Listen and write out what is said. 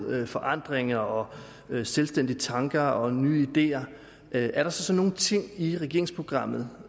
forandringer og selvstændige tanker og nye ideer er der så nogle ting i regeringsprogrammet